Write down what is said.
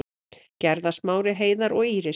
Gerða, Smári, Heiðar og Íris.